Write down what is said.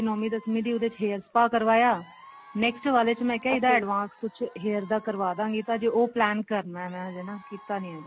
ਨੋਵੀ ਦਸਵੀ ਦੀ ਉਹਦੇ ਚ hair spa ਕਰਵਾਇਆ next ਵਾਲੇ ਮੈਂ ਕਿਹਾ ਇਹਦਾ advance ਕੁੱਛ hair ਦਾ ਕਰਵਾ ਦਵਾਂਗੀ ਤਾਂ ਹਜੇ ਉਹ plan ਕਰਨਾ ਹਜੇ ਨਾ ਕੀਤਾ ਨੀ ਹੈਗਾ